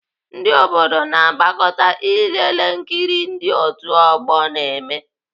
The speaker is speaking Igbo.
Ndị obodo na-agbakọta ilelee nkiri ndị otu ọgbọ na-eme.